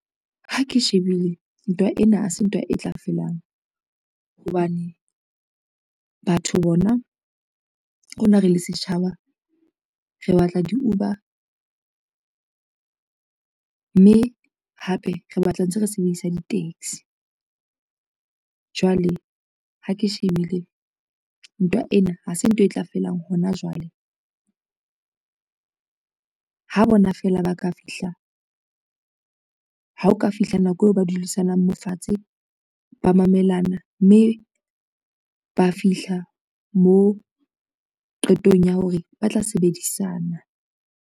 Ha ke shebile ntwa ena, ha se ntwa e tla felang, hobane batho bona le rona re le setjhaba, re batla di-Uber, mme hape re batla ntse re sebedisa di-taxi. Jwale ha ke shebile ntwa ena ha se ntwa e tla felang hona jwale. Ha o ka fihla nako eo ba dulisanang mofatshe ba mamelana, mme ba fihla mo qetong ya hore ba tla sebedisana.